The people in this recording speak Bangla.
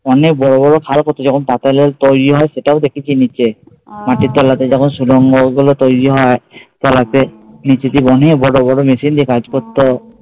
অনেক বড় বড় খাল করতো যখন পাতাল রেল তৈরি হয় সেটাও দেখেছি নিচে, মাটির তলাতে যখন সুড়ঙ্গগুলো তৈরি হয় তলাতে অনেক বড় বড় মেশিন দিয়ে কাজ করতো